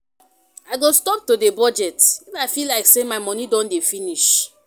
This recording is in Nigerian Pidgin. I go stop to dey budget if I feel like say my money don dey finish